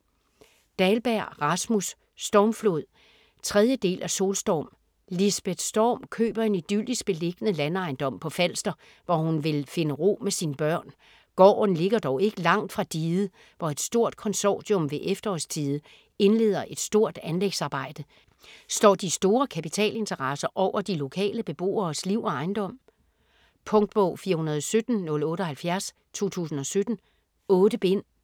Dahlberg, Rasmus: Stormflod 3. del af Solstorm. Lisbeth Storm køber en idyllisk beliggende landejendom på Falster, hvor hun vil finde ro med sine børn. Gården ligger dog ikke langt fra diget, hvor et stort konsortium ved efterårstide indleder et stort anlægsarbejde. Står de store kapitalinteresser over de lokale beboeres liv og ejendom? Punktbog 417078 2017. 8 bind.